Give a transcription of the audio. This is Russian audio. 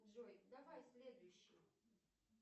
джой давай следующий